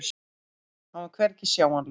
Hann var hvergi sjáanlegur.